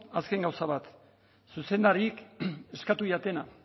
azken gauza bat zuzendariek eskatu didatena